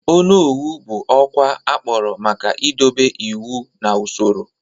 Onowu bụ ọkwa akpọrọ maka idobe iwu na usoro.